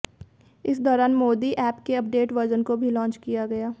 इस दौरान मोदी एप के अपडेट वर्जन को भी लॉन्च किया गया